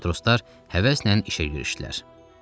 Matroslar həvəslə işə girişdilər.